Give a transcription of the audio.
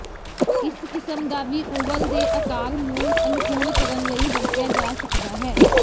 ਇਸ ਕਿਸਮ ਦਾ ਵੀ ਓਵਲ ਦੇ ਆਕਾਰ ਨੂੰ ਅਨੁਕੂਲ ਕਰਨ ਲਈ ਵਰਤਿਆ ਜਾ ਸਕਦਾ ਹੈ